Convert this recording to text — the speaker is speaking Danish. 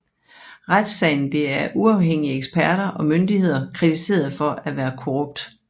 Retssagen blev af uafhængige eksperter og myndigheder kritiseret for at være korrupt